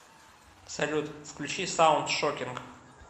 салют включи саунд шокинг